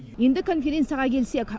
енді конференцияға келсек